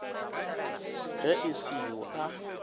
ge e se yo a